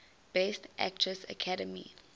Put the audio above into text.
best actress academy